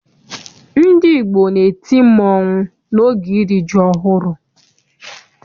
Ndị Igbo na-eti mmanwụ n'oge iri ji ọhụrụ.